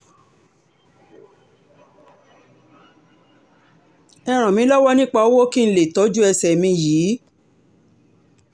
ẹ ràn mí lọ́wọ́ nípa owó kí n lè tọ́jú ẹsẹ̀ mi yìí